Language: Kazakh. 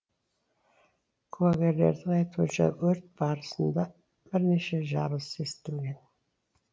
куәгерлердің айтуынша өрт барысында бірнеше жарылыс естілген